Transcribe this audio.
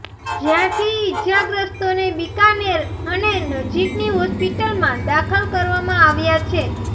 જ્યાંથી ઈજાગ્રસ્તોને બિકાનેર અને નજીકની હોસ્પિટલમાં દાખલ કરવામાં આવ્યા છે